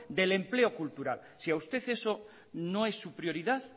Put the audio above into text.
del empleo cultural si a usted eso no es su prioridad